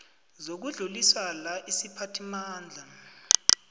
zokudluliswa la isiphathimandla